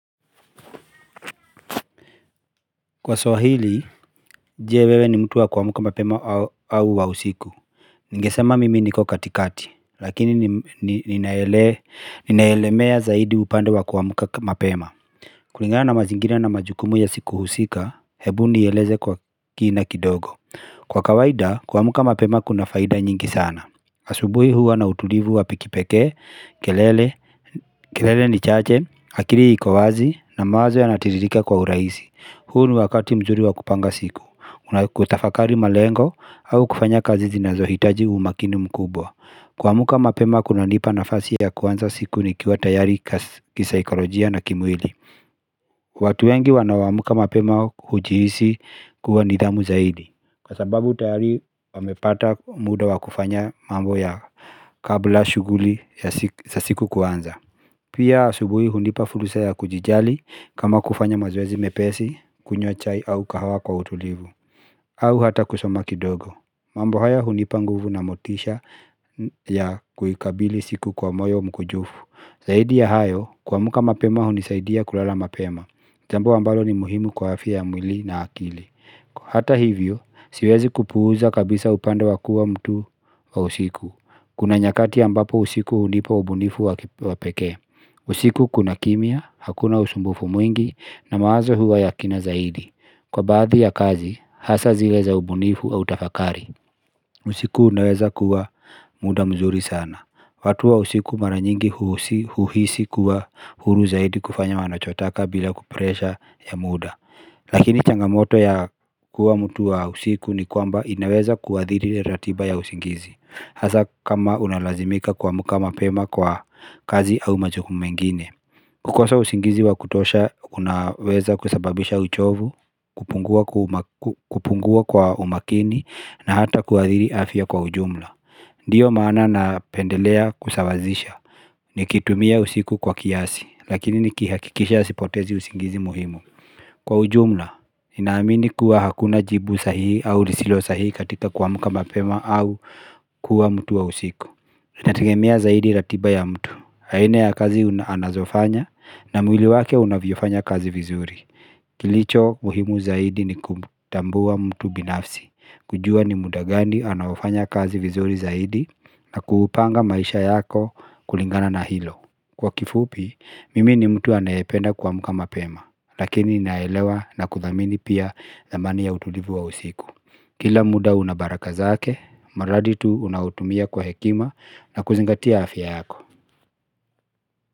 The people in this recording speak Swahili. Kwa swahili je wewe ni mtu wa kuamka mapema au wa usiku Ningesema mimi niko katikati lakini ninaelemea zaidi upande wa kuamka mapema kulingana na mazingira na majukumu ya siku husika hebu nieleze kwa kina kidogo Kwa kawaida kuamka mapema kuna faida nyingi sana asubui huwa na utulivu wa kipekee, kelele, kelele ni chache, akili iko wazi na mawazo yanatiririka kwa uraisi huu ni wakati mzuri wa kupanga siku, unakutafakari malengo au kufanya kazi zinazohitaji umakini mkubwa Kuamka mapema kunanipa nafasi ya kuanza siku nikiwa tayari kisaikolojia na kimwili watu wengi wanaoamka mapema hujihisi kuwa nidhamu zaidi Kwa sababu tayari wamepata muda wa kufanya mambo yao kabla shughuli za siku kuanza Pia asubuhi hunipa fursa ya kujijali kama kufanya mazoezi mepesi, kunywa chai au kahawa kwa utulivu au hata kusoma kidogo mambo haya hunipa nguvu na motisha ya kuikabili siku kwa moyo mkujufu Zaidi ya hayo kuamka mapema hunisaidia kulala mapema jambo ambalo ni muhimu kwa afya ya mwili na akili Kwa hata hivyo, siwezi kupuuza kabisa upande wa kua mtu wa usiku Kuna nyakati ambapo usiku hunipa ubunifu wa pekee usiku kuna kimya, hakuna usumbufu mwingi na mawazo huwa ya kina zaidi Kwa baadhi ya kazi, hasa zile za ubunifu au tafakari usiku unaweza kuwa muda mzuri sana watu wa usiku mara nyingi huhisi kuwa huru zaidi kufanya wanachotaka bila kupresha ya muda Lakini changamoto ya kuwa mtu wa usiku ni kwamba inaweza kuathiri ratiba ya usingizi Hasa kama unalazimika kuamka mapema kwa kazi au majukumu mengine kukosa usingizi wa kutosha unaweza kusababisha uchovu, kupungua kwa umakini na hata kuathiri afya kwa ujumla Ndiyo maana napendelea kusawazisha Nikitumia usiku kwa kiasi, lakini nikihakikisha sipotezi usingizi muhimu Kwa ujumla, ninaamini kuwa hakuna jibu sahihi au lisilo sahihi katika kuamka mapema au kuwa mtu wa usiku Inategemea zaidi ratiba ya mtu aina ya kazi anazofanya na mwili wake unavyofanya kazi vizuri Kilicho muhimu zaidi ni kutambua mtu binafsi kujua ni muda gani anaofanya kazi vizuri zaidi na kupanga maisha yako kulingana na hilo Kwa kifupi, mimi ni mtu anayependa kuamka mapema Lakini naelewa na kuthamini pia thamani ya utulivu wa usiku Kila muda una baraka zake, mradi tu unautumia kwa hekima na kuzingatia afya yako.